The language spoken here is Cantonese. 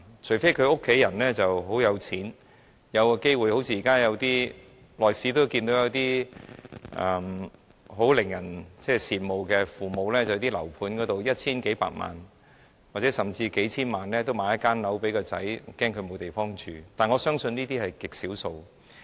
除非年青人的家人很有錢，好像我們間中也看見一些很令人羨慕的父母，在樓盤開售時以一千數百萬元甚至數千萬元購買物業給子女，擔心子女沒有居所，但我相信這些個案是極少數的。